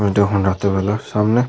সময়টা এখন রাতে বেলার সামনে --